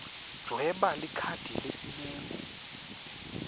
dvweba likhadi lesimemo